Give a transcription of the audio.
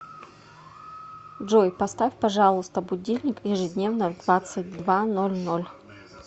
джой поставь пожалуйста будильник ежедневно в двадцать два ноль ноль